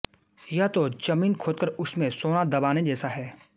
यह तो जमीन खोदकर उसमें सोना दबाने जैसा है